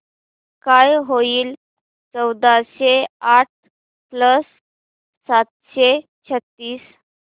काय होईल चौदाशे आठ प्लस सातशे छ्त्तीस